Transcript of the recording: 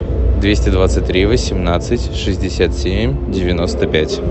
двести двадцать три восемнадцать шестьдесят семь девяносто пять